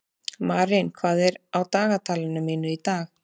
Marín, hvað er á dagatalinu mínu í dag?